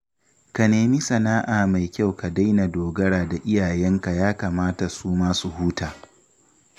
Ka nemi sana'a mai kyau ka daina dogara da iyayenka ya kamata su ma su huta